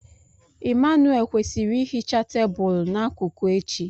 Emmanuelle kwesịrị ihicha tebụl n'akụkụ echi.